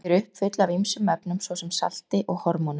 Þau eru uppfull af ýmsum efnum, svo sem salti og hormónum.